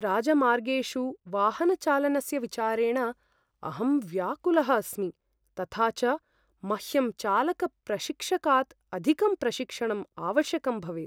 राजमार्गेषु वाहनचालनस्य विचारेण अहं व्याकुलः अस्मि तथा च मह्यं चालकप्रशिक्षकात् अधिकं प्रशिक्षणम् आवश्यकं भवेत्।